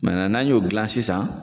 n'an y'o gilan sisan.